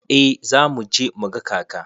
Eh za mu je mu ga kaka.